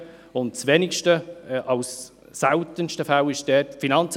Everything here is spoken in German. In den wenigsten, in den seltensten Fällen ist es wegen der Finanzen;